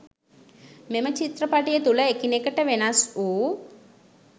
මෙම චිත්‍රපටිය තුල එකිනෙකට වෙනස් වූ